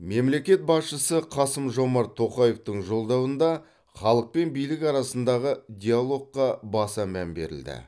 мемлекет басшысы қасым жомарт тоқаевтың жолдауында халық пен билік арасындағы диалогқа баса мән берілді